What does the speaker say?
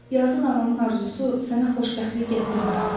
Yazıq ananın arzusu sənə xoşbəxtlik gətirmədi.